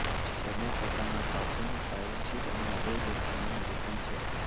જેમાં પોતાનાં પાપોનું પ્રાયશ્ચિત અને હૃદયવ્યથાનું નિરૂપણ છે